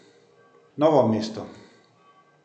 Novo mesto.